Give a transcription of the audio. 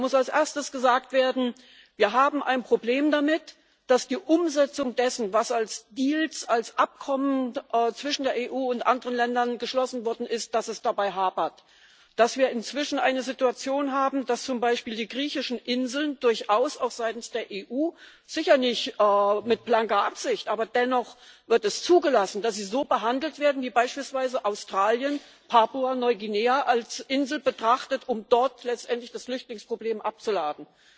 Da muss als Erstes gesagt werden Wir haben ein Problem damit, dass es bei der Umsetzung dessen, was als Deals, als Abkommen zwischen der EU und anderen Ländern geschlossen worden ist, hapert, dass wir inzwischen eine Situation haben, dass zum Beispiel die griechischen Inseln durchaus auch seitens der EU sicher nicht mit blanker Absicht, aber dennoch wird es zugelassen so behandelt werden wie beispielsweise Australien, Papua Neuguinea, als Insel betrachtet, um dort letztendlich das Flüchtlingsproblem abzuladen.